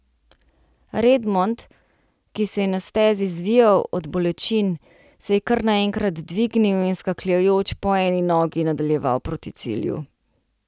Redmond, ki se je na stezi zvijal od bolečin, se je kar naenkrat dvignil in skakljajoč po eni nogi nadaljeval proti cilju.